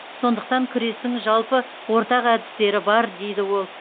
сондықтан күрестің жалпы ортақ әдістері бар дейді ол